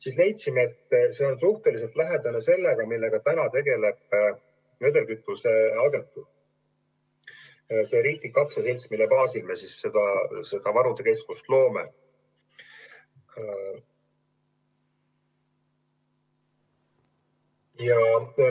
Me leidsime, et see on suhteliselt lähedane sellega, millega täna tegeleb vedelkütusevaru agentuur, see riiklik aktsiaselts, mille baasil me seda varude keskust loome.